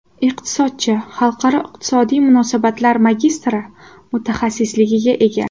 Iqtisodchi, xalqaro iqtisodiy munosabatlar magistri mutaxassisligiga ega.